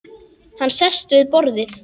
Hann sest við borðið.